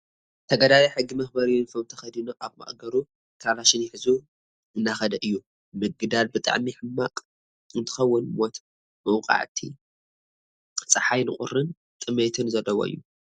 ተጋዳላይ ሕጊ መክበሪ ዩኒፎርም ተከዲኑ ኣብ ማእገሩ ካላሽን ሒዙ እንዳከደ እዩ። ምግዳል ብጣዕሚ ሕማቅ እንትከውን ሞት መውቃዕቲ ፃሓይን ቁሪን ጥሜትን ዘለዎ እዩ።